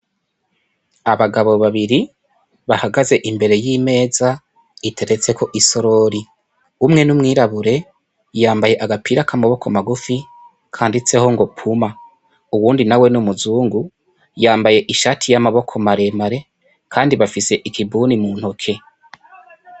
Abagabo babiri bahagaze imbere y'imeza iteretseko isorori, umwe n'umwirabure yambaye agapira k'amaboko magufi kanditseho ngo puma, uwundi nawe n'umuzungu yambaye ishati y'amaboko maremare kandi bafise ikibuni mu ntoke.